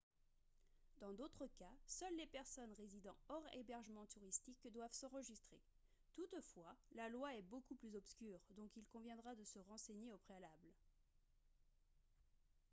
dans d'autres cas seules les personnes résidant hors hébergements touristiques doivent s'enregistrer toutefois la loi est beaucoup plus obscure donc il conviendra de se renseigner au préalable